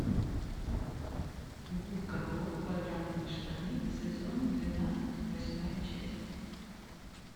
губка боб квадратные штаны сезон двенадцать восьмая часть